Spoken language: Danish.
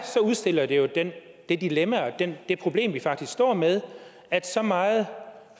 udstiller det jo det dilemma og det problem vi faktisk står med at så meget